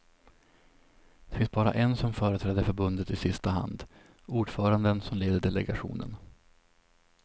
Det finns bara en som företräder förbundet i sista hand, ordföranden som leder delegationen.